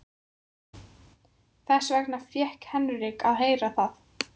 Þess vegna fékk Henrik að heyra það.